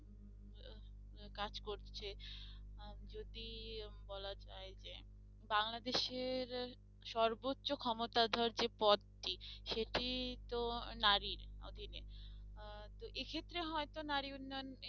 কাজ করছে আহ যদি উম বলা যায় যে বাংলাদেশের আহ সর্বোচ্চ ক্ষমতাধর যে পদটি সেটি তো আহ নারীর আহ তো এক্ষেত্রে হয়তো নারী উন্নয়ন